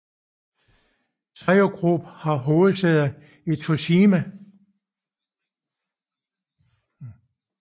Seiyu Group har hovedsæde i Toshima